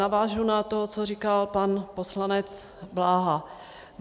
Navážu na to, co říkal pan poslanec Bláha.